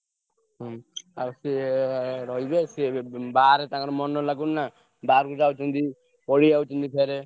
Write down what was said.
ହୁଁ ଆଉ ସିଏ ରହିବେ ସିଏ ଏବେ ବୁ ବାହାରେ ତାଙ୍କର ମନ ଲାଗୁନି ନା। ବାହାରକୁ ଯାଉଛନ୍ତି ପଳେଇଆଉଛନ୍ତି ଫେରେ।